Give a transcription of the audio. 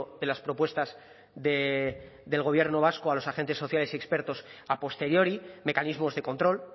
de las propuestas del gobierno vasco a los agentes sociales y expertos a posteriori mecanismos de control